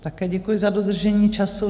Také děkuji, za dodržení času.